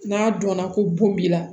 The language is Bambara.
N'a dɔnna ko bon b'i la